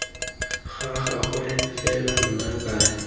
ga gagwe fela nna ke